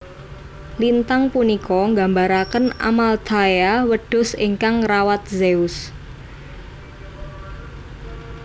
Lintang punika nggambaraken Amalthaea wedhus ingkang ngrawat Zeus